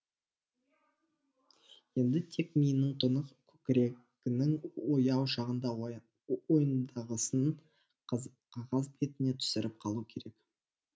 енді тек миының тұнық көкірегінің ояу шағында ойындағысын қағаз бетіне түсіріп қалу керек